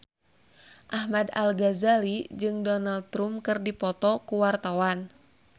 Ahmad Al-Ghazali jeung Donald Trump keur dipoto ku wartawan